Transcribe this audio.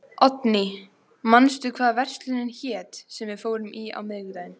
Oddný, manstu hvað verslunin hét sem við fórum í á miðvikudaginn?